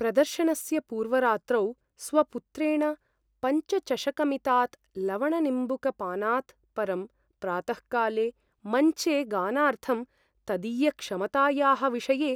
प्रदर्शनस्य पूर्वरात्रौ स्वपुत्रेण पञ्चचषकमितात् लवणनिम्बूकपानात् परं प्रातःकाले मञ्चे गानार्थं तदीयक्षमतायाः विषये